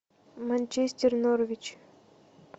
манчестер норвич